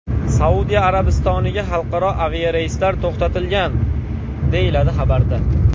Saudiya Arabistoniga xalqaro aviareyslar to‘xtatilgan”, deyiladi xabarda.